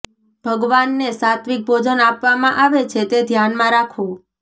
ભગવાનને સાત્વિક ભોજન આપવામાં આવે છે તે ધ્યાનમાં રાખો